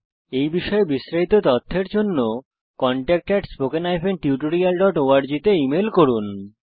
এই বিষয় বিস্তারিত তথ্যের জন্য contactspoken tutorialorg তে ইমেল করুন